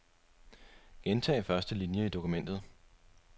Gentag første linie i dokumentet.